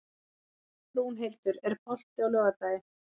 Rúnhildur, er bolti á laugardaginn?